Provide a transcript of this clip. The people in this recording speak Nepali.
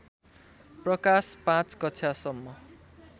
प्रकाश पाँच कक्षासम्म